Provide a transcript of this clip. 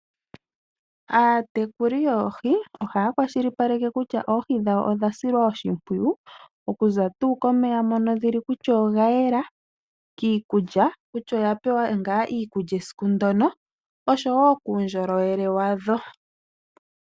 Aatekuli yoohi ohayi kwashilipaleke kutya oohi dhawo odha silwa oshimpwiyu, oku za tuu komeya mono dhili kutya oga yela, kiikulya kutya odha pewa ngaa iikulya esiku ndono, osho woo kuundjolowele wadho.